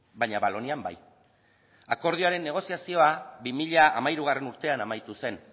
baina valonian bai akordioaren negoziazioa bi mila hamairugarrena urtean amaitu zen